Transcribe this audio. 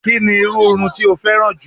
Kí ni irú irun tí o féràn jù?